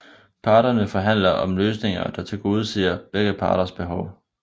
Parterne forhandler om løsninger der tilgodeser begge parters behov